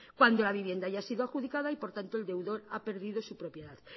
cuando la vivienda ya ha sido adjudicada y por tanto el deudor ha perdido su propiedad